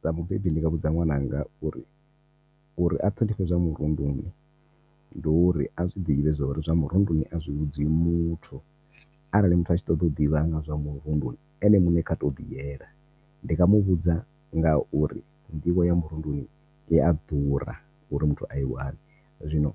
Sa mubebi ndi nga vhudza ṅwananga uri uri a ṱhonifhe zwa murunduni ndi uri a zwiḓivhe zwa uri zwa murunduni a zwi vhudziwi muthu. Arali muthu a tshi ṱoḓa u ḓivha nga zwa murunduni ene muṋe kha tou ḓi yela ndi nga muvhudza ngauri nḓivho ya murunduni iya ḓura uri muthu a i wane zwino